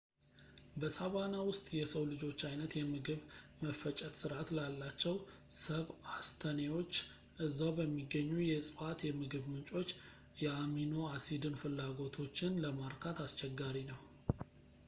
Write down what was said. በሣቫና ውስጥ ፣ የሰው ልጆች ዓይነት የምግብ መፈጨት ሥርዓት ላላቸው ሰብአስተኔዎች እዛው በሚገኙ የእጽዋት የምግብ ምንጮች የአሚኖ አሲድን ፍላጎቶችን ለማርካት አስቸጋሪ ነው